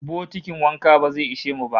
Bokitin wanka ba zai ishe mu ba